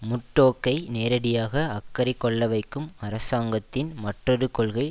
முர்டோக்கை நேரடியாக அக்கறை கொள்ளவைக்கும் அரசாங்கத்தின் மற்றொரு கொள்கை